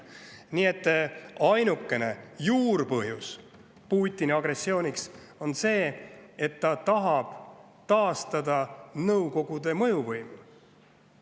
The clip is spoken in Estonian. Putini agressiooni ainukene põhjus on see, et ta tahab taastada Nõukogude mõjuvõimu.